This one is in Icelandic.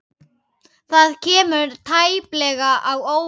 Það kemur tæplega á óvart.